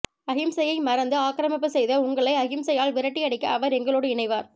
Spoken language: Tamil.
அகிம்சை யை மறந்து ஆக்கிரமிப்பு செய்த உங்களை அகிம்சை யால் விரட்டி அடிக்க அவர் எங்களோடு இணைவார்